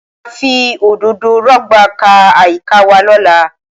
Wọ́n máa fi òdòdó rọ̀gbà ká àyíká wa lọ́la